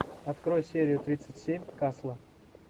открой серию тридцать семь касла